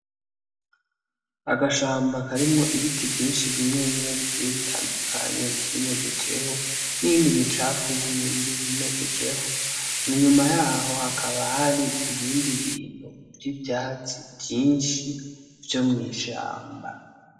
Agashamba karimwo ibiti vyinshi bimwe bimwe bigiye bitandukanye vyimejejeho, n'iyindi micafu yindi yimejejeho, inyuma yaho hakaba hari ibindi bintu vy'ivyatsi vyinshi vyo mw'ishamba.